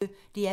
DR P1